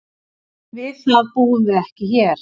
Við það búum við ekki hér.